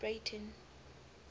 breyten